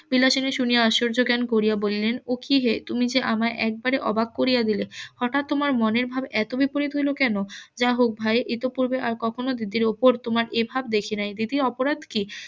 বিলাসিনী শুনিয়া আশ্চর্য জ্ঞান করিয়া বলিলেন ও কি হে তুমি যে আমায় একেবারে অবাক করিয়া দিলে হঠাৎ তোমার মনের ভাব এত বিপরীত হইলো কেন যা হোক ভাই ইতোপূর্বে আর কক্ষনো দিদির উপর এভাব দেখি নাই দিদির অপরাধ কি?